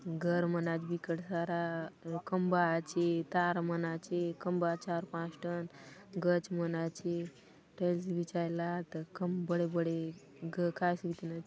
घर मन आचे बिकट साराखंबा आचे तार मन आचे खंबा चार पांच ठन गच मन आचे टाइल्स बिछायला आत कम बड़े-बड़े कायतो बीतिन--